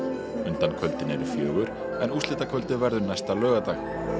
undankvöldin eru fjögur en úrslitakvöldið verður næsta laugardag